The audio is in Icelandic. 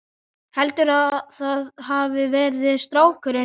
Heldurðu að það hafi verið strákurinn?